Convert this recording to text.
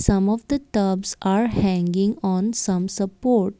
some of the tops are hanging on some support.